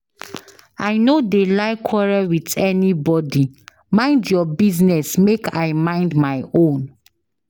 I no dey like quarrel with anybody. Mind your business make I mind my own.